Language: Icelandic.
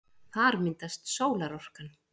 Þar myndast sólarorkan.